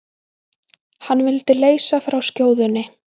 Hann vildi leysa frá skjóðunni.